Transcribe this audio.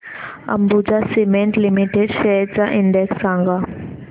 Ambuja cement limited shares चा index सांगा